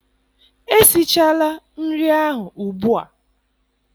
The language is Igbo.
Esichala nri ahụ ugbua!